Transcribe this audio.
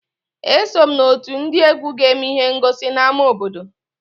Eso m n'otu ndị egwu ga-eme ihe ngosi n'ámá obodo